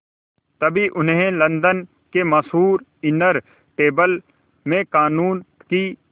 तभी उन्हें लंदन के मशहूर इनर टेम्पल में क़ानून की